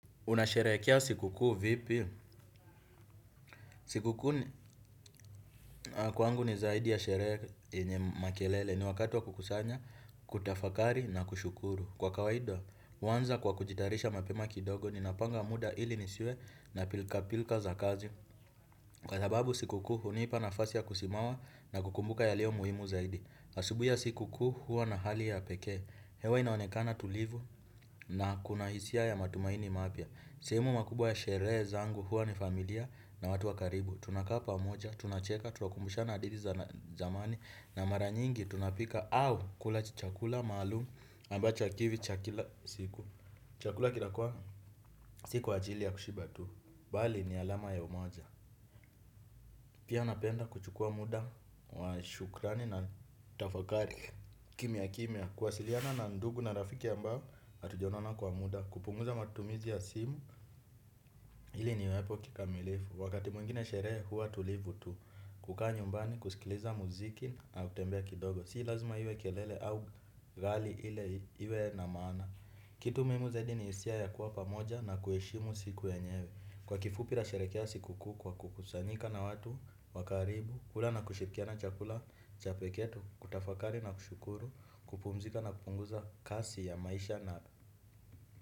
Unasherehekea sikukuu vipi? Sikukuu kwangu ni zaidi ya sherehe ye makelele ni wakati wa kukusanya, kutafakari na kushukuru. Kwa kawaida, huanza kwa kujitayarisha mapema kidogo ninapanga muda ili nisiwe na pilka pilka za kazi. Kwa sababu sikukuu hunipa nafasi ya kusimama na kukumbuka yalio muhimu zaidi. Asubuhi ya sikukuu huwa na hali ya pekee. Hewa inaonekana tulivu na kuna hisia ya matumaini mapya. Sehemu makubwa ya sheree zangu huwa ni familia na watu wa karibu. Tunakaa pamoja, tunacheka, tunakumbushana hadithi za zamani na mara nyingi tunapika au kula chakula maalumu ambacho hakiwi cha kila siku. Chakula kinakuwa sio kwa ajili ya kushiba tu. Bali ni alama ya umoja pia napenda kuchukua muda wa shukrani na tafakari kimya kimya kuwasiliana na ndugu na rafiki ambao hatujaonona kwa muda kupunguza matumizi ya simu. Hili niwepo kikamilifu, wakati mwingine sherehe huwa tulivu tu kukaa nyumbani, kusikiliza muziki na utembee kidogo sii lazima hiwe kelele au ghali ile hiwe na maana. Kitu muhimu zaidi ni hisia ya kuwa pamoja na kuheshimu siku yenyewe. Kwa kifupi nasherehekea sikukuu kwa kukusanyika na watu, wa karibu, kula na kushirikiana chakula, cha pekee, kutafakari na kushukuru, kupumzika na kupunguza kasi ya maisha na.